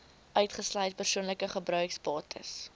uitgesluit persoonlike gebruiksbates